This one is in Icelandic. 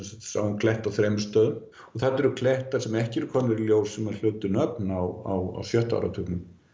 kletta á þremur stöðum þarna eru klettar sem ekki eru komnir í ljós sem hlutu nöfn á sjötta áratugnum